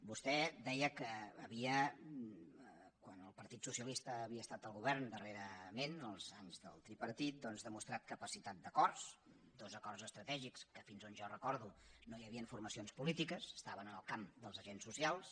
vostè deia que havia quan el partit socialista havia estat al govern darrerament els anys del tripartit demostrat capacitat d’acords dos acords estratègics en què fins on jo recordo no hi havien formacions polítiques estaven en el camp dels agents socials